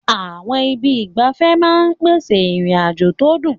Àwọn ibi ìgbafẹ́ ìgbafẹ́ máa ń pèsè ìrìn-àjò tó dùn.